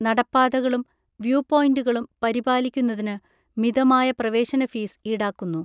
നടപ്പാതകളും view പോയിൻ്റുകളും പരിപാലിക്കുന്നതിന് മിതമായ പ്രവേശന ഫീസ് ഈടാക്കുന്നു.